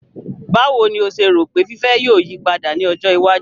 Báwo ni o ṣe rò pé fiífẹ́ yóò yí padà ní ọjọ iwájú?